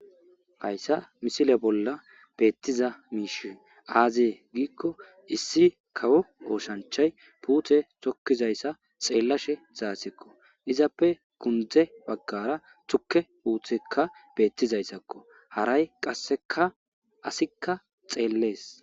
hayssa missile bolla beettiza miishshi aze giikko issi kawo oosanchchay putte tokizayssa xeellashshe dizazikko izappe gunde baggara tukke putekka beettizayssakko haray qassekka assikka xellees